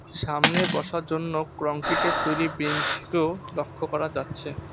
সামনে বসার জন্য ক্রংক্রিটের তৈরি বেঞ্চকেও লক্ষ্য করা যাচ্ছে।